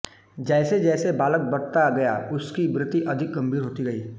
जैसे जैसे बालक बढ़ता गया उसकी वृत्ति अधिक गंभीर होती गई